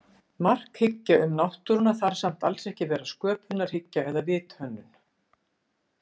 Markhyggja um náttúruna þarf samt alls ekki að vera sköpunarhyggja eða vithönnun.